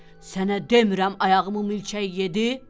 Sənə demirəm ayağımı mülçək yedi!